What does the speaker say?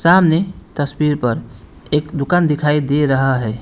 सामने तस्वीर पर एक दुकान दिखाई दे रहा है।